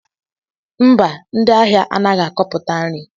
Mba, ndị ahịa anaghị akọputa nri